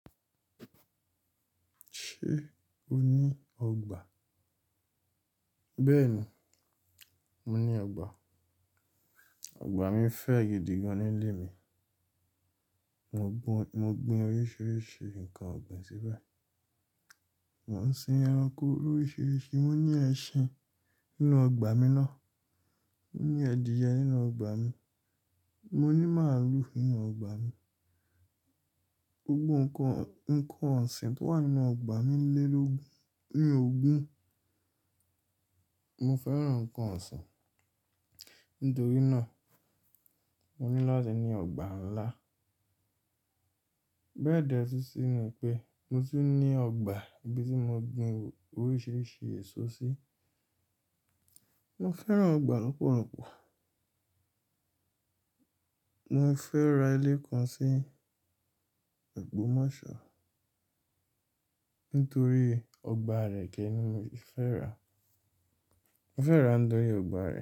Ṣé o ní ọgbà? Bẹ́ẹ̀ni, mo ní ọgbà. Ọgbà mi fẹ́ gídì gan nílé mi. Mo gbin oríṣiríṣi nǹkan ọ̀gbìn síbẹ̀. Mo ń sin ẹranko oríṣiríṣi. Mo ní ẹṣin nínú ọgbà mi ná. Mo ní ẹ̀dìyẹ nínú ọgbà mi. Mo ní màlúù nínú ọgbà mi. Gbogbo ǹkan ọ̀sìn tó wà nínú ọgbà mi lé lógun, ní ògún. Mo fẹ́ràn ǹkan ọ̀sìn. Nítorí náà, mo ní láti ní ọgbà ńlá. Béẹ̀dẹ sísinu pe, mo tí ní ọgbà ibi tí mo gbin oríṣiríṣi èso sí. Mo fẹ́ràn ọgbà púpọ̀ púpọ̀. Mo fẹ́ ra ilé kan sí ogbómọ́ṣọ́, nítorí ọgbà rẹ̀ kẹ́ ni mi o fi fẹ́ ra. Mo fẹ́ ra nítorí ọgbà rẹ̀